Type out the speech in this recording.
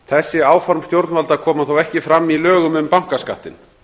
þessi áform stjórnvalda koma þó ekki fram í lögum um bankaskattinn